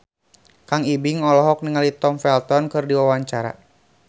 Kang Ibing olohok ningali Tom Felton keur diwawancara